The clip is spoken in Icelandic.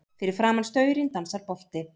Fyrir framan staurinn dansar bolti.